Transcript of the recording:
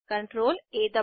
edit menu पर जाएँ